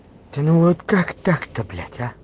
да ну вот как так то блять а